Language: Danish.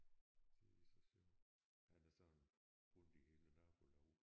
Det er så sjov. Han er sådan rundt i hele nabolaget